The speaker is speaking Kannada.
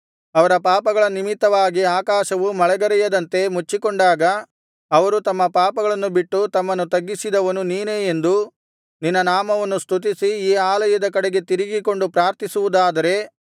ಅವರ ಪಾಪಗಳ ನಿಮಿತ್ತವಾಗಿ ಆಕಾಶವು ಮಳೆಗರೆಯದಂತೆ ಮುಚ್ಚಿಕೊಂಡಾಗ ಅವರು ತಮ್ಮ ಪಾಪಗಳನ್ನು ಬಿಟ್ಟು ತಮ್ಮನ್ನು ತಗ್ಗಿಸಿದವನು ನೀನೇ ಎಂದು ನಿನ್ನ ನಾಮವನ್ನು ಸ್ತುತಿಸಿ ಈ ಆಲಯದ ಕಡೆಗೆ ತಿರುಗಿಕೊಂಡು ಪ್ರಾರ್ಥಿಸುವುದಾದರೆ